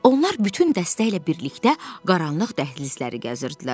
Onlar bütün dəstə ilə birlikdə qaranlıq dəhlizləri gəzirdilər.